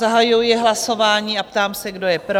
Zahajuji hlasování a ptám se, kdo je pro?